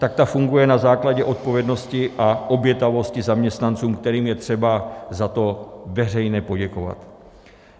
Tak ta funguje na základě odpovědnosti a obětavosti zaměstnanců, kterým je třeba za to veřejně poděkovat.